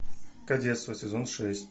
кадетство сезон шесть